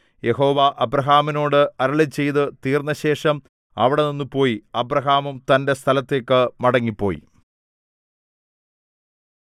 യഹോവ അബ്രാഹാമിനോട് അരുളിച്ചെയ്തു തീർന്നശേഷം അവിടെനിന്ന് പോയി അബ്രാഹാമും തന്റെ സ്ഥലത്തേക്ക് മടങ്ങിപ്പോയി